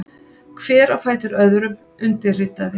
Hver á fætur öðrum undirritaði.